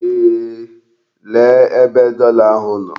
Eeh, lee ebe dollar ahụ nọ.